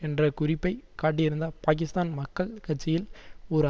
என்ற குறிப்பை காட்டியிருந்த பாக்கிஸ்தான் மக்கள் கட்சியில் ஒரு